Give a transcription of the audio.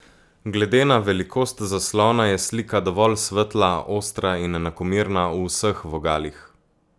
Glede na velikost zaslona je slika dovolj svetla, ostra in enakomerna v vseh vogalih.